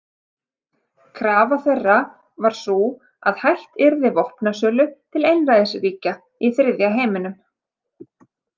Krafa þeirra var sú að hætt yrði vopnasölu til einræðisríkja í þriðja heiminum.